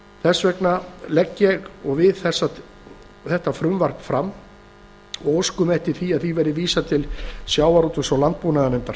þess vegna leggjum við þetta frumvarp fram og óskum eftir því að því verði vísað til sjávarútvegs og landbúnaðarnefndar